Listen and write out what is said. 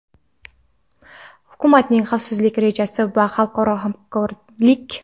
hukumatning xavfsizlik rejasi va xalqaro hamkorlik.